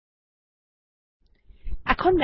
এখন টার্মিনাল এ ফিরে যাওয়া যাক